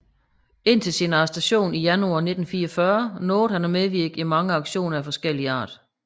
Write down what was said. Indtil sin arrestation i januar 1944 nåede han at medvirke i mange aktioner af forskellig art